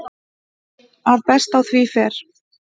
að best á því fer